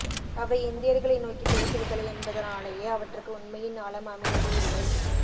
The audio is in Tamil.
அவை இந்தியர்களை நோக்கிப் பேசுவதில்லை என்பதனாலேயே அவற்றுக்கு உண்மையின் ஆழம் அமைவது இல்லை